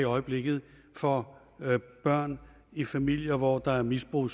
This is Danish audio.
i øjeblikket for børn i familier hvor der er misbrug